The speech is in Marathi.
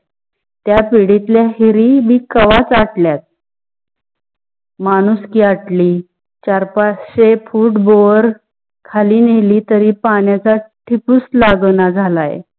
त्या पिढीतल्या विहिरी बी केव्हाच आटल्यात. माणुसकी आठली चार पाचशे foot बोर खळी नेली तारी पणाच्या टिपूस लगन ना झाल्‍या.